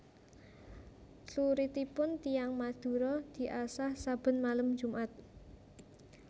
Cluritipun tiyang Madura diasah saben malem jumat